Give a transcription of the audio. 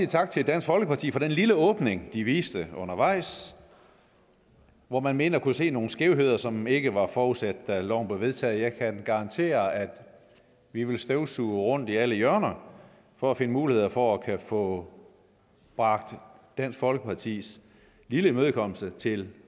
tak til dansk folkeparti for den lille åbning de viste undervejs hvor man mente at kunne se nogle skævheder som ikke var forudsat da loven blev vedtaget jeg kan garantere at vi vil støvsuge rundt i alle hjørner for at finde muligheder for at kunne få bragt dansk folkepartis lille imødekommelse til